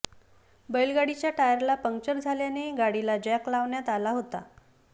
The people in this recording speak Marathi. बैलगाडीच्या टायरला पंक्चर झाल्याने गाडीला जॅक लावण्यात आला होता